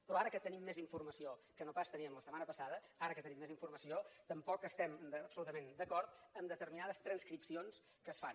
però ara que tenim més informació que no pas teníem la setmana passada ara que tenim més informació tampoc estem absolutament d’acord amb determinades transcripcions que es fan